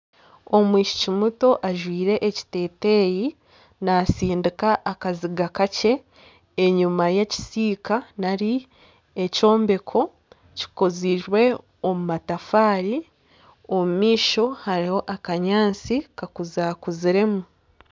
Omwishiki muto ajwaire ekiteteyi nasindika akaziga kakye enyuma y'ekisiika nari ekyombeko kikozirwe omu matafaari omumaisho hariho akanyatsi kakuza-kuziremu